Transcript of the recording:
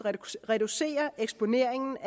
reducere eksponeringen